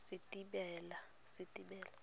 setebela